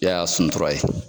Yaya Suntura ye.